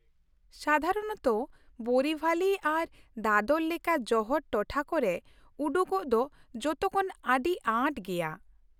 ᱥᱟᱫᱷᱟᱨᱚᱱᱚᱛᱚ, ᱵᱳᱨᱤᱵᱷᱟᱞᱤ ᱟᱨ ᱫᱟᱫᱚᱨ ᱞᱮᱠᱟ ᱡᱚᱦᱚᱲ ᱴᱚᱴᱷᱟ ᱠᱚᱨᱮ ᱩᱰᱩᱠᱚᱜ ᱫᱚ ᱡᱚᱛᱚ ᱠᱷᱚᱱ ᱟᱹᱰᱤ ᱟᱸᱴ ᱜᱮᱭᱟ ᱾